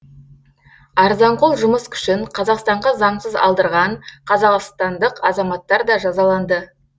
арзанқол жұмыс күшін қазақстанға заңсыз алдырған қазақстандық азаматтар да жазаланды